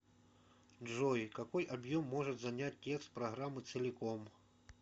джой какой объем может занять текст программы целиком